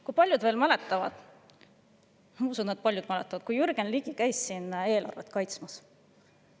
Kui paljud teist mäletavad seda, kui Jürgen Ligi käis siin eelarvet kaitsmas?